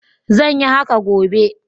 Zan yi haka gobe.